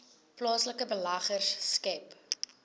plaaslike beleggers skep